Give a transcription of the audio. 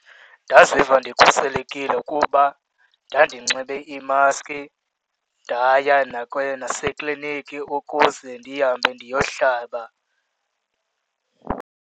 Ndaziva ndikhuselekile ukuba ndandinxibe imaski ndaya nasekliniki ukuze ndihambe ndiyohlaba.